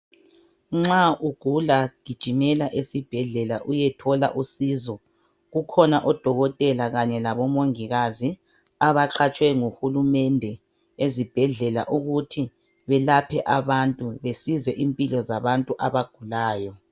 Nxa ugula gijimela esibhedlela uyethola usizo ,kukhona odokotela kanye labomongikazi abaqatshwe nguhulumende ezibhedlela ukuthi belaphe abantu besize impilo zabantu abagulayo.